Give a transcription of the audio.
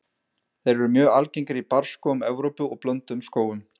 Þeir eru mjög algengir í barrskógum Evrópu og blönduðum skógum.